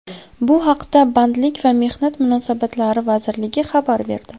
Bu haqda Bandlik va mehnat munosabatlari vazirligi xabar berdi .